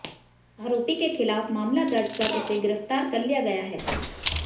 अारोपी के खिलाफ मामला दर्ज कर उसे गिरफ्तार कर लिया गया है